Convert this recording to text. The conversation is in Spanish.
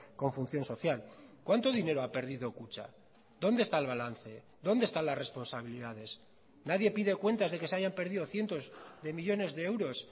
con función social cuánto dinero ha perdido kutxa dónde está el balance dónde están las responsabilidades nadie pide cuentas de que se hayan perdido cientos de millónes de euros